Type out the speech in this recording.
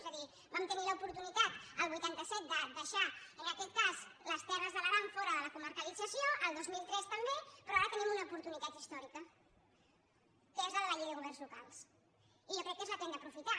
és a dir vam tenir l’oportunitat el vuitanta set de deixar en aquest cas les terres de l’aran fora de la comarcalització el dos mil tres també però ara tenim una oportunitat històrica que és la de la llei de governs locals i jo crec que és la que hem d’aprofitar